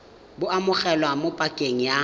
bo amogelwa mo pakeng ya